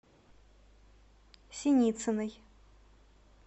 синицыной